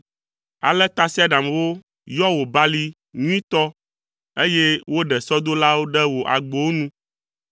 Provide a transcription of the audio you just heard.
Ale tasiaɖamwo yɔ wò balime nyuitɔ, eye woɖe sɔdolawo ɖe wò agbowo nu.